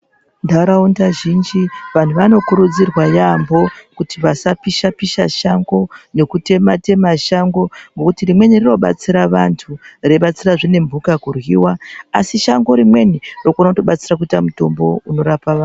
Nharaunda zhinji vantu vanokurudzirwa yaamho kuti vasapisha-pisha shango nekutema-tema shango nekuti rimweni rinobatsira vantu reibatsirazve nemhuka kuryiwa asi shango rimweni rinokona kutobatsira kuita mutombo unorapa vanhu.